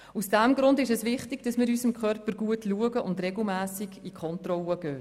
Aus diesem Grund ist es wichtig, dass wir gut zu unserem Körper schauen und regelmässig in die Kontrolle gehen.